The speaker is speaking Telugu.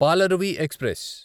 పాలరువి ఎక్స్ప్రెస్